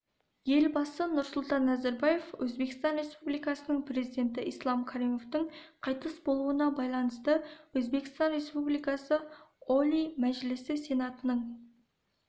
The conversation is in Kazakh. елбасы нұрсұлтан назарбаев өзбекстан республикасының президенті ислам каримовтің қайтыс болуына байланысты өзбекстан республикасы олий мәжілісі сенатының